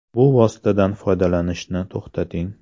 Bu vositadan foydalanishni to‘xtating.